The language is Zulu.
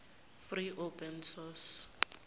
free open source